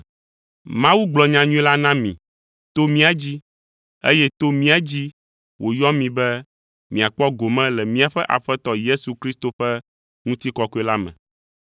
Mawu gblɔ nyanyui la na mi to mía dzi, eye to mía dzi wòyɔ mi be miakpɔ gome le míaƒe Aƒetɔ Yesu Kristo ƒe ŋutikɔkɔe la me.